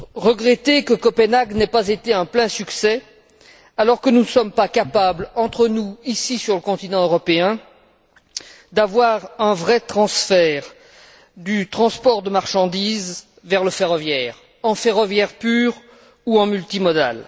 Regretter que Copenhague n'ait pas été un plein succès alors que nous ne sommes pas capables entre nous, ici sur le continent européen, d'avoir un vrai transfert du transport de marchandises vers le ferroviaire, en ferroviaire pur ou en multimodal?